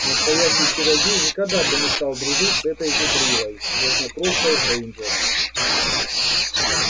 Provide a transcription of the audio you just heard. настоящий чародей никогда бы не стал дружить с этой зубрилой грязнокровкой грэйнджер